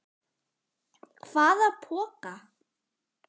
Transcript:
Hvaða poka?